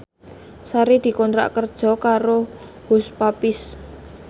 Sari dikontrak kerja karo Hush Puppies